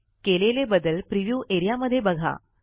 केलेले बदल प्रिव्ह्यू एरियामध्ये बघा